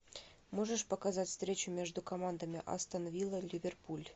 можешь показать встречу между командами астон вилла ливерпуль